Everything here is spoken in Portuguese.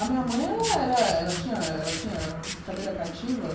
A minha mãe ela era ela tinha ela tinha cadeira cativa.